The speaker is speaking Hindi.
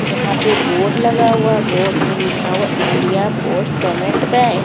यहा पे बोर्ड लगा हुआ बोर्ड में लिखा हुआ इंडिया पोस्ट पेमेंट बैंक --